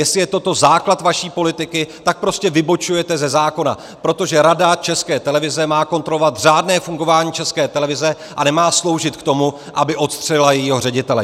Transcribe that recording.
Jestli je toto základ vaší politiky, tak prostě vybočujete ze zákona, protože Rada České televize má kontrolovat řádné fungování České televize a nemá sloužit k tomu, aby odstřelila jejího ředitele.